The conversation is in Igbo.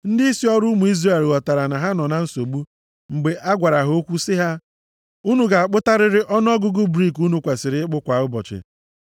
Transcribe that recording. Ndịisi ọrụ ụmụ Izrel ghọtara na ha nọ na nsogbu mgbe a gwara ha okwu sị ha, “Unu ga-akpụtarịrị ọnụọgụgụ brik unu kwesiri ịkpụ kwa ụbọchị.”